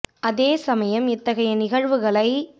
அதே சமயம் இத்தகைய நிகழ்வுகளை